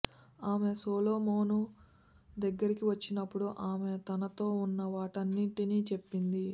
ఆమె సొలొమోను దగ్గరికి వచ్చినప్పుడు ఆమె తనతో ఉన్న వాటన్నింటినీ చెప్పింది